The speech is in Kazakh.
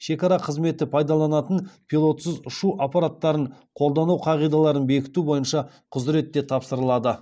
шекара қызметі пайдаланатын пилотсыз ұшу аппараттарын қолдану қағидаларын бекіту бойынша құзырет те тапсырылады